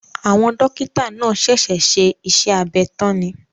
Àwọn Dókítà náà ṣẹ̀ṣẹ̀ ṣe iṣẹ́ abẹ tán ni